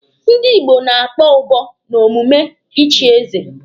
Ndi Igbo na-akpọ ụbọ n'omume ịchị eze.